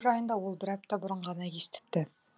жайында ол бір апта бұрын ғана естіпті